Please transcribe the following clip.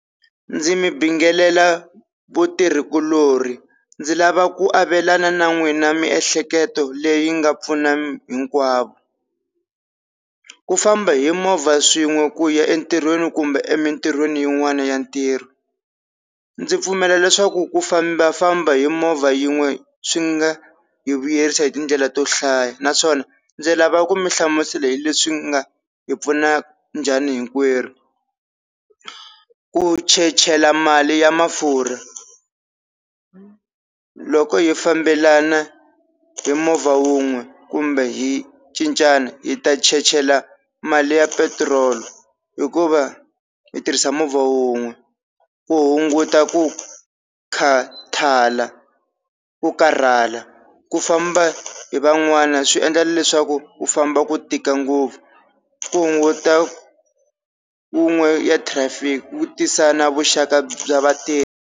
Ndzi mi bingelela vutirhikulori ndzi lava ku avelana na n'wina miehleketo leyi nga pfuna hinkwavo ku famba hi movha swin'we ku ya entirhweni kumbe emintirhweni yin'wana ya ntirho, ndzi pfumela leswaku ku fambafamba hi movha yin'we swi nga hi vuyerisa hi tindlela to hlaya naswona ndzi lava ku mi hlamusela hi leswi nga hi pfuna njhani hinkwerhu ku chechela mali ya mafurha loko hi fambelana hi movha wun'we, kumbe hi cincana hi ta chechela mali ya petirolo hikuva hi tirhisa movha wun'we, ku hunguta ku khathala ku karhala ku famba hi van'wana swi endla leswaku ku famba ku tika ngopfu, ku hunguta wun'we ya traffic ku tisa na vuxaka bya vatirhi.